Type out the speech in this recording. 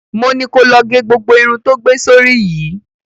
Mo ni ko lọ ge gbogbo irun tó gbé sórí yìí!